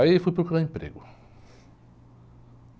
Aí fui procurar emprego.